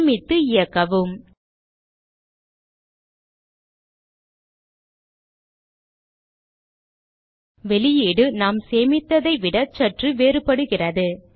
சேமித்து இயக்கவும் வெளியீடு நாம் சேமித்ததை விட சற்று வேறுபடுகிறது